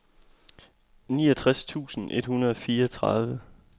niogtres tusind et hundrede og fireogtredive